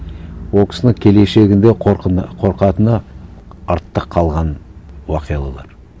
ол кісінің келешегінде қорқатыны артта қалған оқиғалар